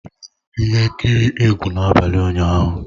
Ị lere ihe nkiri egwu n'abalị ụnyaahụ?